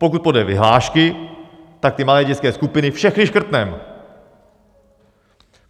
Pokud podle vyhlášky, tak ty malé dětské skupiny všechny škrtneme.